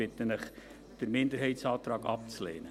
Ich bitte Sie, den Minderheitsantrag abzulehnen.